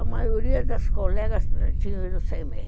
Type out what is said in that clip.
A maioria das colegas tinha ido sem meia.